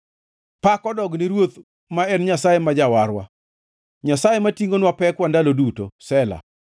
Pak odog ne Ruoth, ma en Nyasaye ma Jawarwa, Nyasaye matingʼonwa pekwa ndalo duto. Sela